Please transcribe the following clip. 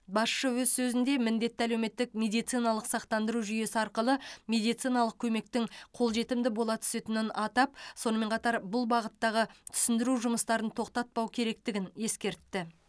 басшы өз сөзінде міндетті әлеуметтік медициналық сақтандыру жүйесі арқылы медициналық көмектің қол жетімді бола түсетінін атап сонымен қатар бұл бағыттағы түсіндіру жұмыстарын тоқтатпау керектігін ескертті